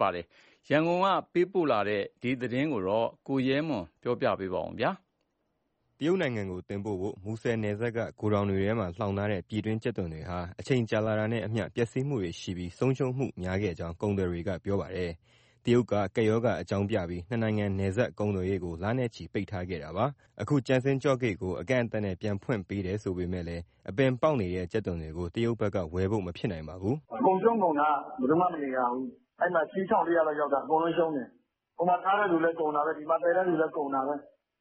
ပါ။ ရန်ကုန်ကပေးပို့တဲ့ ဒီသတင်းကိုတော့ ကိုရဲမွန် က ပြောပြပေးမှာပါ။ တရုတ်နိုင်ငံကိုတင်ပို့ဖို့ မူဆယ်နယ်စပ်က ဂိုထောင်တွေထဲမှာလှောင်ထားတဲ့ ပြည်တွင်းကြက်သွန်တွေဟာ အချိန်ကြာလာတာနဲ့အမျှ ပျက်ဆီးမှုတွေရှိပြီး ဆုံးရှုံးမှုများခဲ့ကြောင်း ကုန်သည်တွေက ပြောပါတယ်။ တရုတ်က ကပ်ရောဂါအကြောင်းပြပြီး နှစ်နိုင်ငံနယ်စပ်ကုန်သွယ်ရေးကို လနဲ့ချီပိတ်ထားခဲ့တာပါ။ အခု ကျင်စန်းကျော့ဂိတ်ကို အကန့်အသတ်နဲ့ ပြန်ဖွင့်ပေးတယ်ဆိုပေမဲ့လည်း အပင်ပေါက်နေတဲ့ ကြက်သွန်တွေကို တရုတ်ဘက်က ဝယ်ဖို့မဖြစ်နိုင်ပါဘူး။ “ အကုန်ရှုံးကုန်တာ၊ ဘယ်သူမှမနေရဘူး။ အဲဒီမှာ အစီး ၁၄၀၀ လောက်ရောက်တာ အကုန်လုံးရှုံးတယ်။ ဟိုမှာထားတဲ့သူလည်း ကုန်တာပဲ၊ ဒီမှာသယ်တဲ့သူလည်း ကုန်တာပဲ။ ဘယ်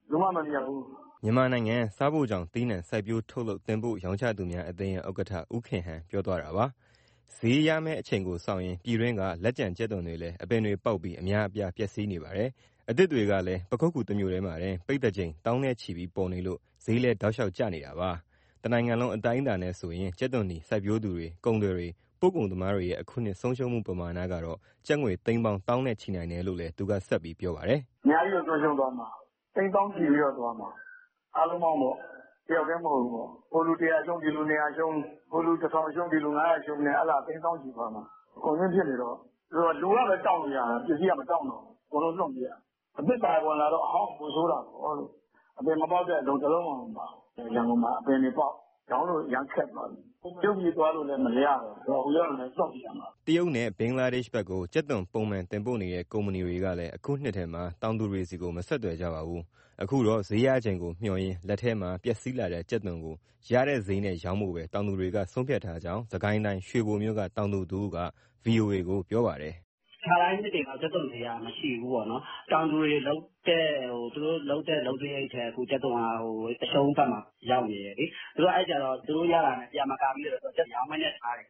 သူမှမမြတ်ဘူး။” မြန်မာနိုင်ငံ စားဖိုချောင်သီးနှံ စိုက်ပျိုး၊ ထုတ်လုပ်၊ တင်ပို့ရောင်းချသူများအသင်းရဲ့ ဥက္ကဋ္ဌ ဦးခင်ဟန် ပြောသွားတာပါ။ ဈေးရမယ့်ချိန်ကိုစောင့်ရင်း ပြည်တွင်းက လက်ကျန်ကြက်သွန်တွေလည်း အပင်တွေပေါက်ပြီး အများအပြား ပျက်စီးနေပါတယ်။ အသစ်တွေကလည်း ပခုက္ကူတမြို့တည်းမှာတင် ပိဿာချိန်သောင်းနဲ့ချီပြီး ပေါ်နေလို့ ဈေးလည်း တောက်လျှောက်ကျနေတာပါ။ တနိုင်ငံလုံး အတိုင်းအတာနဲ့ဆိုရင် ကြက်သွန်နီ စိုက်ပျိုးသူတွေ၊ ကုန်သည်တွေ၊ ပို့ကုန်သမားတွေရဲ့ အခုနှစ် ဆုံးရှုံးမှုပမာဏကတော့ ကျပ်ငွေသိန်းပေါင်း သောင်းနဲ့ချီနိုင်တယ်လို့ သူပြောပါတယ်။ “ အများကြီးကို ဆုံးရှုံးသွားမှာ၊ သိန်းသောင်းချီပြီးတော့သွားမှာ အားလုံပေါင်းပေါ့ တယောက်တည်းမဟုတ်ဘူး။ ဟိုလူ ၁၀၀ ရှုံး၊ ဒီလူ ၂၀၀ ရှုံး၊ ဟိုလူ ၁၀၀၀ ရှုံး၊ ဒီလူ ၅၀၀ ရှုံးနဲ့ အဲဒါသိန်းသောင်းချီသွားမှာ။ ကုန်စိမ်းဖြစ်နေတော့ လူကပဲတောင့်လို့ရတာ ပစ္စည်းက မတောင့်တော့ဘူး။ အကုန်လုံးလွှင့်ပစ်ရ။ အသစ်ပါဝင်လာတော့ အဟောင်းပိုဆိုးတာပေါ့လို့။ အပင်မပေါက်တဲ့အလုံး တလုံးမှမပါဘူး၊ ရန်ကုန်မှာ အပင်တွေပေါက်။ ရောင်းလို့ အရမ်းခက်သွားပြီ။ တရုတ်ပြည်သွားလို့လည်း မရတော့ဘူး။ ဟိုရောက်လည်း လွှင့်ပစ်ရမှာ။” တရုတ်နဲ့ ဘင်္ဂလားဒေ့ရှ်ဘက်ကို ကြက်သွန်ပုံမှန်တင်ပို့နေတဲ့ ကုမ္ပဏီတွေကလည်း အခုနှစ်ထဲမှာ တောင်သူတွေဆီကို မဆက်သွယ်ကြပါဘူး။ အခုတော့ ဈေးရချိန်ကိုမျှော်ရင်း လက်ထဲမှာပျက်စီးလာတဲ့ကြက်သွန်ကို ရတဲ့ဈေးနဲ့ရောင်းဖို့ပဲ တောင်သူတွေက ဆုံဖြတ်ထားကြောင်း စစ်ကိုင်းတိုင်း၊ ရွှေဘိုမြို့က တောင်သူတဦးက ဗွီအိုအေကို ပြောပါတယ်။ “ ခါတိုင်းနှစ်တွေလောက် ကြက်သွန်ဈေးက မရှိဘူးပေါ့နော်။ တောင်သူတွေ သူတို့လုပ်တဲ့ လုပ်စရိတ်ထက် ကြက်သွန်က အရှုံးဘက်မှာ ရောက်နေတယ်လေ။ အဲဒီတော့ သူတို့ရတာနဲ့ ပြန်မကာမိတော့ မရောင်းဘဲထားတယ်။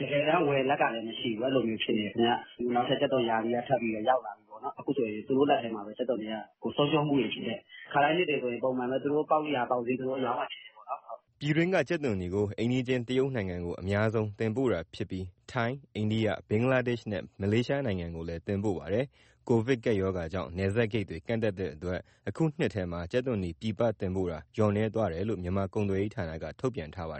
တကယ်တမ်း ဝယ်လက်ကလည်း မရှိဘူး၊ အဲဒီလိုဖြစ်နေတယ်ခင်ဗျ။ နောက်ထပ် ကြက်သွန်ရာသီက ထပ်ပြီးရောက်လာပြီပေါ့နော်၊ အခုဆိုရင် သူတို့လက်ထဲမှာပဲ ကြက်သွန်တွေက ဆုံးရှုံးမှုတွေဖြစ်တယ်။ ခါတိုင်းနှစ်တွေဆိုရင် ပုံမှန်ပဲ သူတို့ပေါက်ရာပေါက်ဈေး အရောင်းအဝယ်ဖြစ်တယ်။” ပြည်တွင်းက ကြက်သွန်နီကို အိမ်နီးချင်း တရုတ်နိုင်ငံကို အများဆုံးတင်ပို့တာဖြစ်ပြီး ထိုင်း၊ အိန္ဒိယ၊ ဘင်္ဂလားဒေ့ရှ်နဲ့ မလေးရှားနိုင်ငံကိုလည်း တင်ပို့ပါတယ်။ ကိုဗစ်ကပ်ရောဂါကြောင့် နယ်စပ်ဂိတ်တွေကန့်သတ်တဲ့အတွက် အခုနှစ်ထဲမှာ ကြက်သွန်နီပြည်ပတင်ပို့တာ လျော့နည်းသွားတယ်လို့ မြန်မာကုန်သွယ်ရေးဌာနက ထုတ်ပြန်ထားပါ